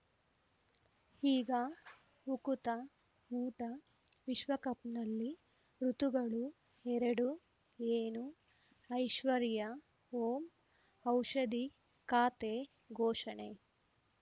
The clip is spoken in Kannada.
ಈಗ ಉಕುತ ಊಟ ವಿಶ್ವಕಪ್‌ನಲ್ಲಿ ಋತುಗಳು ಎರಡು ಏನು ಐಶ್ವರ್ಯಾ ಓಂ ಔಷಧಿ ಖಾತೆ ಘೋಷಣೆ